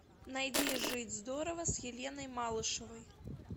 найди жить здорово с еленой малышевой